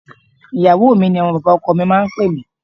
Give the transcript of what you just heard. Ìyàwó mi ni àwọn bàbá ọkọ mi máa ń pè mí.